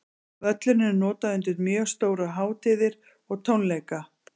Völlurinn er notaður undir mjög stórar hátíðir og tónleika.